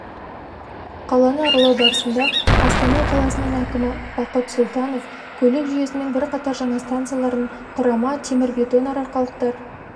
қаланы аралау барысында астана қаласының әкімі бақыт сұлтанов көлік жүйесінің бірқатар жаңа станцияларын құрама темірбетон арқалықтар